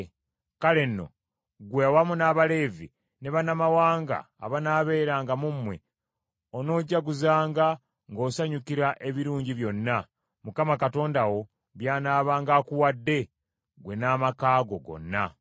Kale nno, ggwe awamu n’Abaleevi, ne bannamawanga abanaabeeranga mu mmwe, onoojaguzanga ng’osanyukira ebirungi byonna, Mukama Katonda wo by’anaabanga akuwadde ggwe n’amaka go gonna.